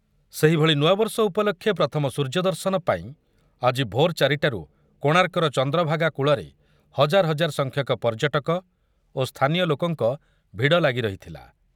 ସେହିଭଳି ନୂଆବର୍ଷ ଉପଲକ୍ଷେ ପ୍ରଥମ ସୂର୍ଯ୍ୟ ଦର୍ଶନ ପାଇଁ ଆଜି ଭୋର ଚାରିଟାରୁ କୋଣାର୍କର ଚନ୍ଦ୍ରଭାଗା କୂଳରେ ହଜାର ହଜାର ସଂଖ୍ୟକ ପର୍ଯ୍ୟଟକ ଓ ସ୍ଥାନୀୟ ଲୋକଙ୍କ ଭିଡ଼ ଲାଗିରହିଥିଲା ।